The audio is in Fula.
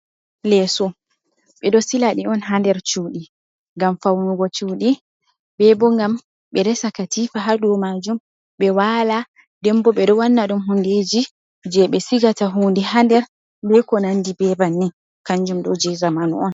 Leso ɓeɗo silaɗi on ha nder cuɗi ngam faunugo cuɗi, bebo ngam ɓe resa katifa ha dow majum ɓe wala. Nden bo ɓeɗo wanna ɗum hundeji je ɓe sigata hunde ha nder be konandi be banni. Kanjum ɗo je zamanu on